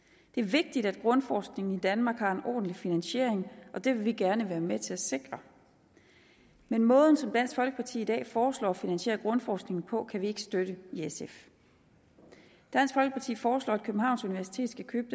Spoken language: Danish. det er vigtigt at grundforskning i danmark har en ordentlig finansiering og det vil vi gerne være med til at sikre men måden som dansk folkeparti i dag foreslår at finansiere grundforskningen på kan vi ikke støtte dansk folkeparti foreslår at københavns universitet skal købe